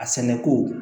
A sɛnɛko